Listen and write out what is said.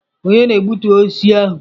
Ònye na-egbutu osisi ahụ?